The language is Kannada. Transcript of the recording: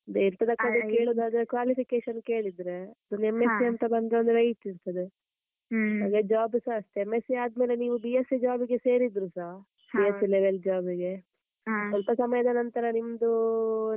ಕಡೆ ಕೇಳುದಾದ್ರೆ qualification ಕೇಳಿದ್ರೆ ಒಂದು M.sc ಅಂತ ಬಂದ್ರೆ ಒಂದು weight ಇರ್ತದೆ, ಹಾಗೆ job ಸ ಅಷ್ಟೇ M.sc ಆದ್ಮೇಲೆ ನೀವ್ B.sc job ಗೆ ಸೇರಿದ್ರುಸಾ, B.sc level job ಸ್ವಲ್ಪ ಸಮಯದ ನಂತ್ರ ನಿಮ್ದು,